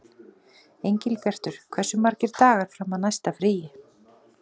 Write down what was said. Engilbjartur, hversu margir dagar fram að næsta fríi?